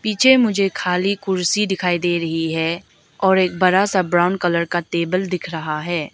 नीचे मुझे खाली कुर्सी दिखाई दे रही है और एक बड़ा सा ब्राउन कलर का टेबल दिख रहा है।